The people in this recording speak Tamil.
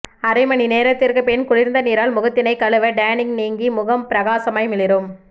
அரை மணி நேரத்திற்குப் பின் குளிர்ந்த நீரால் முகத்தினை கழுவ டேனிங் நீங்கி முகம் பிரகாசமாய் மிளிரும்